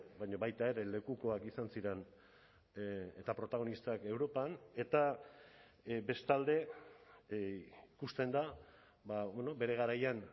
baina baita ere lekukoak izan ziren eta protagonistak europan eta bestalde ikusten da bere garaian